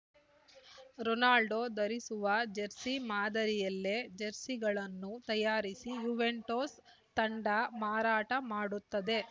Ronaldo ಧರಿಸುವ jersey ಮಾದರಿಯಲ್ಲೇ ಜೆರ್ಸಿಗಳನ್ನು ತಯಾರಿಸಿ ಯುವೆಂಟುಸ್‌ ತಂಡ ಮಾರಾಟ ಮಾಡುತ್ತದೆ